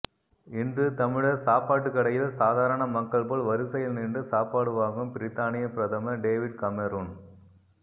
இன்று தமிழர் சாப்பாட்டு கடையில் சாதாரண மக்கள் போல் வரிசையில் நின்று சாப்பாடு வாங்கும் பிரித்தானிய பிரதமர் டேவிட் கமேரூன்